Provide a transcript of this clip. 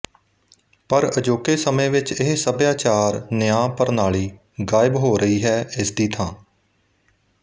ਪਰ ਅਜੋਕੇ ਸਮੇਂ ਵਿੱਚ ਇਹ ਸਭਿਆਚਾਰ ਨਿਆਂ ਪ੍ਰਣਾਲੀ ਗਾਇਬ ਹੋ ਰਹੀ ਹੈ ਇਸਦੀ ਥਾਂ